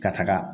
Ka taga